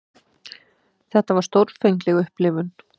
Þetta var stórfengleg upplifun.